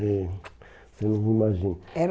eh Você nem imagina. Era